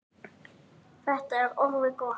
Þetta er orðið gott.